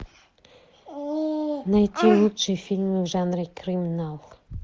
найти лучшие фильмы в жанре криминал